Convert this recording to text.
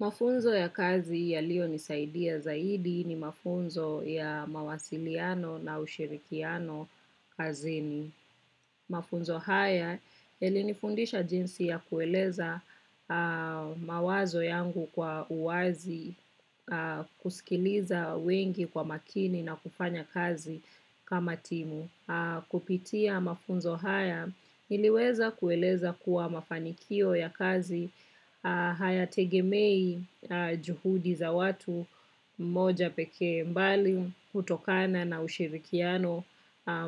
Mafunzo ya kazi yaliyonisaidia zaidi ni mafunzo ya mawasiliano na ushirikiano kazini. Mafunzo haya yalinifundisha jinsi ya kueleza mawazo yangu kwa uwazi, kusikiliza wengi kwa makini, na kufanya kazi kama timu. Kupitia mafunzo haya, niliweza kueleza kuwa mafanikio ya kazi hayategemei juhudi za mtu mmoja pekee, mbali hutokana na ushirikiano